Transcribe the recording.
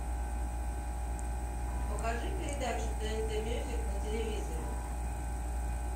покажи передачу тнт мьюзик на телевизоре